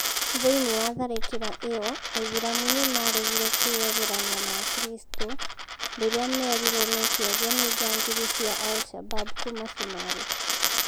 Thĩĩnĩ wa tharĩkĩra ĩyo Aĩthĩramũ nĩmaregĩre kwĩyeherania na akristo rĩrĩa merĩrwo meke ogũo nĩ jangiri cĩa Al-shabaab kũma cumarĩ